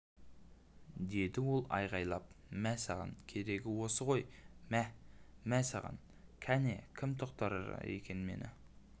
деді ол айғайлапмә саған керегі осы ғой мә мә саған кәне кім тоқтатар екен мен